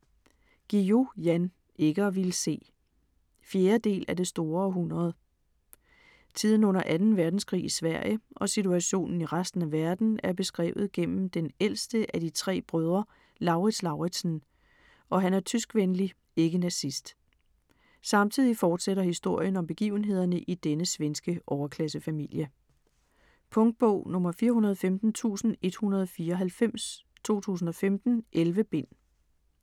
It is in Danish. Guillou, Jan: Ikke at ville se 4. del af Det store århundrede. Tiden under 2. verdenskrig i Sverige og situationen i resten af verden er beskrevet gennem den ældste af de 3 brødre, Lauritz Lauritzen, og han er tyskvenlig (ikke nazist). Samtidig fortsætter historien om begivenhederne i denne svenske overklassefamilie. Punktbog 415194 2015. 11 bind.